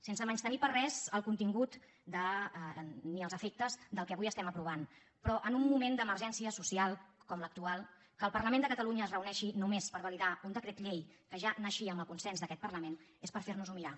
sense menystenir per res el contingut ni els efectes del que avui aprovem però en un moment d’emergència social com l’actual que el parlament de catalunya es reuneixi només per validar un decret llei que ja naixia amb el consens d’aquest parlament és per fer nos ho mirar